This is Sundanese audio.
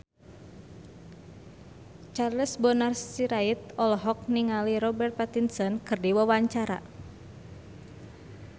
Charles Bonar Sirait olohok ningali Robert Pattinson keur diwawancara